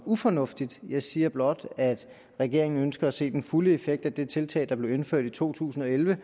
ufornuftigt jeg siger blot at regeringen ønsker at se den fulde effekt af det tiltag der blev indført i to tusind og elleve